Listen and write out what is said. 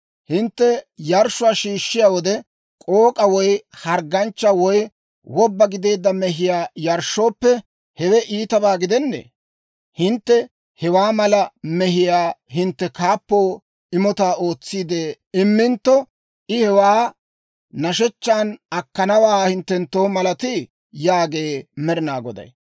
Hintte yarshshuwaa yarshshiyaa wode, k'ook'aa woy hargganchchaa woy wobba gideedda mehiyaa yarshshooppe, hewe iitabaa gidennee? Hintte hewaa mala mehiyaa hintte kaappo imotaa ootsiide immintto, I hewaa nashechchaan akkanawaa hinttenttoo malatii?» yaagee Med'inaa Goday.